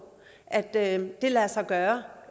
at det kan lade sig gøre